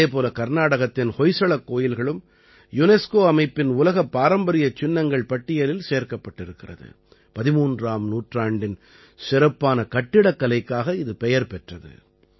அதே போல கர்நாடகத்தின் ஹொய்சளக் கோயில்களும் யுனெஸ்கோ அமைப்பின் உலகப் பாரம்பரியச் சின்னங்கள் பட்டியலில் சேர்க்கப்பட்டிருக்கிறது 13ஆம் நூற்றாண்டின் சிறப்பான கட்டிடக்கலைக்காக இது பெயர் பெற்றது